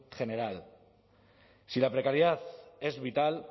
general si la precariedad es vital